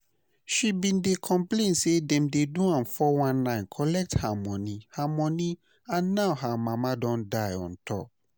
She bin dey complain say dem do am 419 collect her money her money and now her mama don die on top